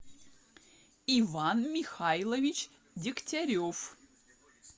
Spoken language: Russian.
иван михайлович дегтярев